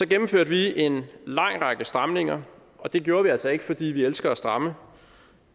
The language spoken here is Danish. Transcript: gennemførte en lang række stramninger og det gjorde vi altså ikke fordi vi elsker at stramme